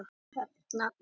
Höfðaholti